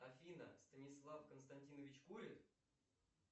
афина станислав константинович курит